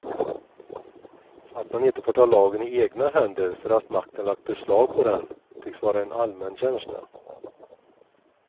Att man inte får ta lagen i egna händer för att makten lagt beslag på den, tycks vara en allmän känsla.